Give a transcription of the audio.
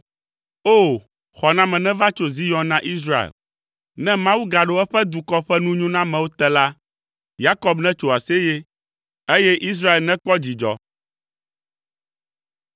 O! Xɔname neva tso Zion na Israel! Ne Mawu gaɖo eƒe dukɔ ƒe nunyonamewo te la, Yakob netso aseye, eye Israel nekpɔ dzidzɔ!